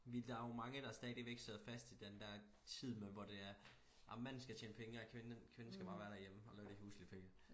Vi der jo mange der stadigvæk sidder fast i den der tid med hvor det er jamen manden skal tjene pengene og kvinden kvinden skal bare være derhjemme og lave de huslige pligter